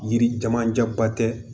Yiri camancɛ ba tɛ